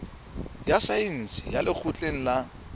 ya saense ya lekgotleng la